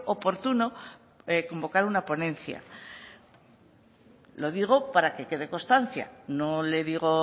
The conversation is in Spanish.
oportuno convocar una ponencia lo digo para que quede constancia no le digo